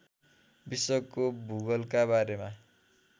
विश्वको भूगोलका बारेमा